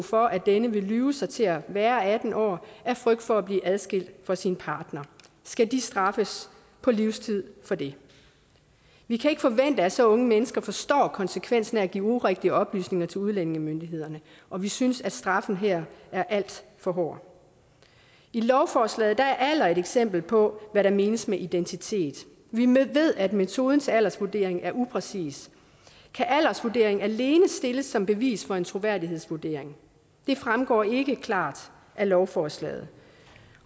for at denne vil lyve sig til at være atten år af frygt for at blive adskilt fra sin partner skal de straffes på livstid for det vi kan ikke forvente at så unge mennesker forstår konsekvensen af at give urigtige oplysninger til udlændingemyndighederne og vi synes at straffen her er alt for hård i lovforslaget er alder et eksempel på hvad der menes med identitet vi ved at metoden til aldersvurdering er upræcis kan aldersvurdering alene stilles som bevis for en troværdighedsvurdering det fremgår ikke klart af lovforslaget